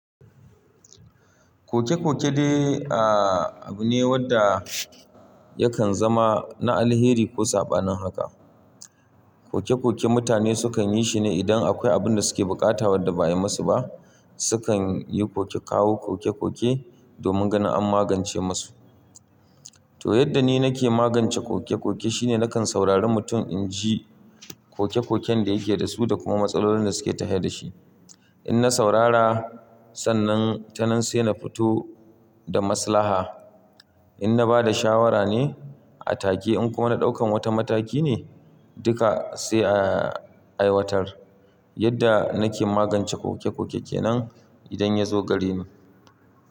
Koke-koke dai a abu ne wanda yakan zama na alheri ko saba nan haka. Koke-koke mutane sukan yi shi ne idan akwai abin da suke bukata wadda baya musu ba. Sukan yi koke, kawo koke-koke domin ganin an magance musu. To yadda ni nake magance koke-koke shine nakan saurari mutum inji koke-koken da yake da su da kuma matsalolin da suke ta hira da shi. In na saurara sannan, ta nan sai na fito da maslaha. In na bada shawara ne a take in kuma na ɗaukan wata mataki ne duka sai a aiwatar. Yadda nake magance koke-kokekke nan idan ya zo gareni.